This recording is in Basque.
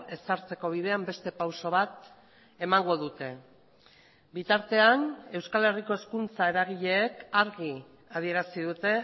ezartzeko bidean beste pauso bat emango dute bitartean euskal herriko hezkuntza eragileek argi adierazi dute